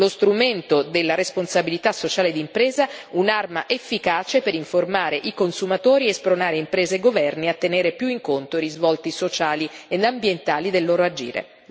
Lo strumento della responsabilità sociale d'impresa è un'arma efficace per informare i consumatori e spronare imprese e governi a tenere più in conto i risvolti sociali ed ambientali del loro agire.